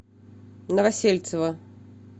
новосельцева